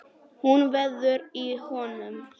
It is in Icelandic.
Hún veður í honum.